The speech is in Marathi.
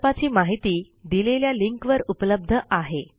प्रकल्पाची माहिती दिलेल्या लिंकवर उपलब्ध आहे